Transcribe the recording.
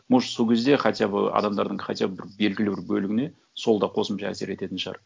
может сол кезде хотя бы адамдардың хотя бы бір белгілі бір бөліміне сол да қосымша әсер ететін шығар